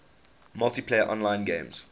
multiplayer online games